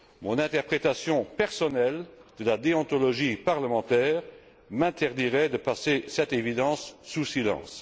Mon interprétation personnelle de la déontologie parlementaire m'interdirait de passer cette évidence sous silence.